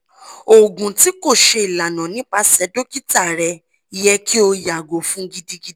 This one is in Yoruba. oògùn ti ko ṣe ilana nipasẹ dokita rẹ yẹ ki o yago fun gidigidi